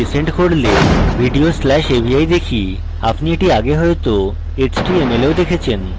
এটি resend করলে video slash avi দেখি আপনি এটি আগে হয়তো html এও দেখেছেন